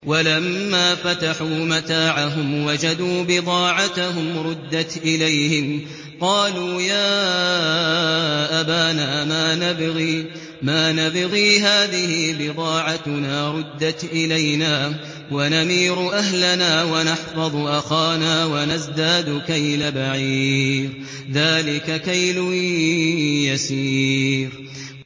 وَلَمَّا فَتَحُوا مَتَاعَهُمْ وَجَدُوا بِضَاعَتَهُمْ رُدَّتْ إِلَيْهِمْ ۖ قَالُوا يَا أَبَانَا مَا نَبْغِي ۖ هَٰذِهِ بِضَاعَتُنَا رُدَّتْ إِلَيْنَا ۖ وَنَمِيرُ أَهْلَنَا وَنَحْفَظُ أَخَانَا وَنَزْدَادُ كَيْلَ بَعِيرٍ ۖ ذَٰلِكَ كَيْلٌ يَسِيرٌ